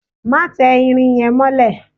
Má tẹ irin yẹn mọ́lẹ̀!